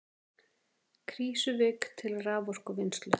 Krýsuvík til raforkuvinnslu.